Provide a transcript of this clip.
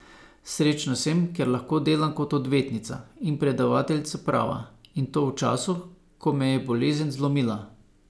Srečna sem, ker lahko delam kot odvetnica in predavateljica prava, in to v času, ko me je bolezen zlomila.